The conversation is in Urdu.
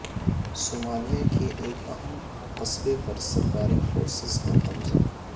صومالیہ کے ایک اہم قصبے پر سرکاری فورسز کا قبضہ